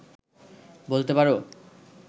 বলতে পারো